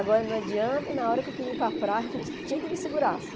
Agora não adianta, na hora que eu queria ir para a praia, não tinha que me segurasse.